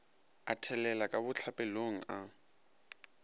a thelela ka bohlapelong a